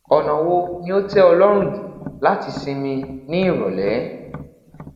ọna wo ni o tẹ ọ lọrun ju lati sinmi ni irọlẹ